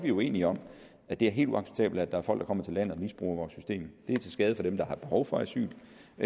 er uenige om at det er helt uacceptabelt at folk kommer til landet og misbruger vores system det er til skade for dem der har behov for asyl